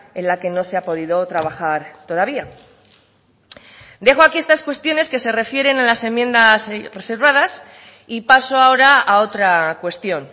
en la que no se ha podido trabajar todavía dejo aquí estas cuestiones que se refieren a las enmiendas reservadas y paso ahora a otra cuestión